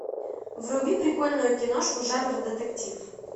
вруби прикольную киношку жанра детектив